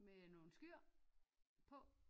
Med nogle skyer på